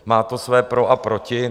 Má to své pro a proti.